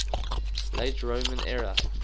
late roman era